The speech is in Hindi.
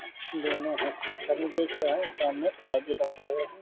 देख रहे हैं सामने तराजू भी रखा हुआ है।